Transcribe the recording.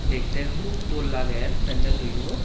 dekte hub dol lager pendelloyo.